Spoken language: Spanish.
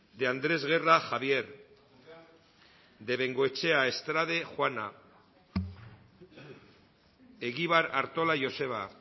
de andrés guerra javier de bengoechea estrade juana egibar artola joseba